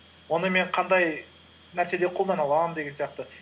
оны мен қандай нәрседе қолдана аламын деген сияқты